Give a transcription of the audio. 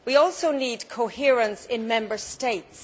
We also need coherence in Member States.